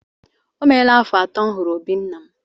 O meela afọ atọ m hụrụ obí nna m.